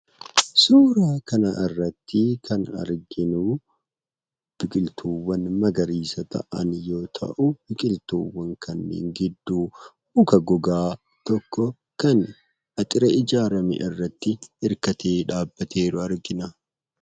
Suuraa kana irratti kan arginu biqiltuuwwan magariisa ta'an yoo ta'u, biqiltuuwwan kanneen gidduu muka gogaa tokko kan dallaa ijaarame irratti hirkatee jiru argina.